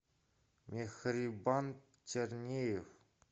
мехрибан тернеев